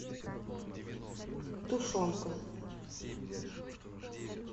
тушенка